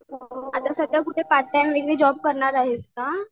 आता सध्या कुठे पार्टटाईम जॉब करणार आहेस का?